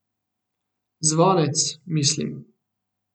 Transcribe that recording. Zvonec, mislim.